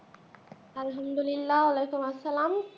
আলহামদুলিল্লাহ আলিকুল্লা সেলাম।